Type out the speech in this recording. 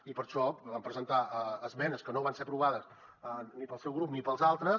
i per això hi vam presentar esmenes que no van ser aprovades ni pel seu grup ni pels altres